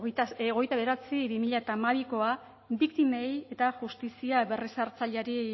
hogeita bederatzi barra bi mila hamabikoa biktimei eta justizia berrezartzaileari